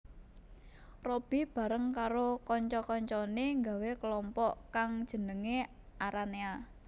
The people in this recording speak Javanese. Robby bareng karo kanca kancané nggawé kalompok kang jenengé Aranea